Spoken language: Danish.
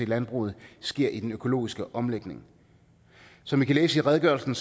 landbruget sker i den økologiske omlægning som i kan læse i redegørelsen